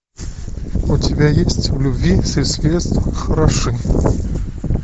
у тебя есть в любви все средства хороши